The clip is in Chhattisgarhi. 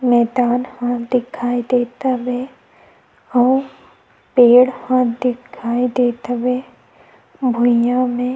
मैदान ह दिखाई देत हवे अउ पेड़ ह दिखाई देत हवे भुईया हे।